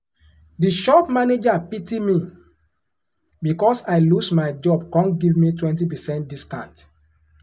um the shop manager pity me because i lose my job come give me 20 percent discount.